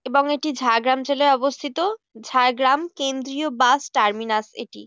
এবং এটি ঝাড়গ্রাম জেলায় অবস্থিত। ঝাড়গ্রাম কেন্দ্রীয় বাস টারমিনারস এটি।